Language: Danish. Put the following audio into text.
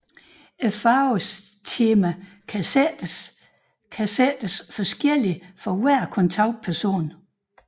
Farvetemaet kan sættes kan sættes forskelligt for hver kontaktperson